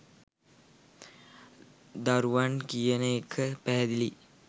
දරුවන් කියන එක පැහැදිලියි